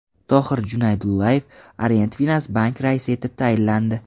Tohir Junaydullayev Orient Finans Bank raisi etib tayinlandi.